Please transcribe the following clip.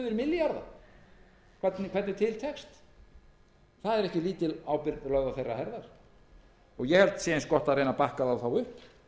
milljarða hvernig til tekst það er ekki lítil ábyrgð lögð á herðar þeirra ég held að það sé eins gott að bakka þá upp